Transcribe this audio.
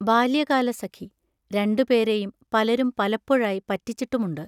ബാല്യകാലസഖി രണ്ടുപേരെയും പലരും പലപ്പോഴായി പറ്റിച്ചിട്ടുമുണ്ട്.